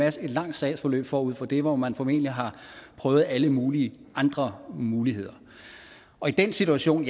et langt sagsforløb forud for det hvor man formentlig har prøvet alle mulige andre muligheder og i den situation